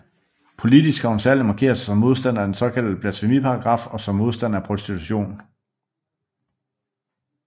Politisk har hun særligt markeret sig som modstander af den såkaldte blasfemiparagraf og som modstander af prostitution